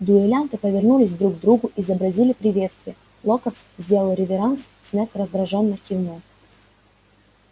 дуэлянты повернулись друг к другу изобразили приветствие локонс сделал реверанс снегг раздражённо кивнул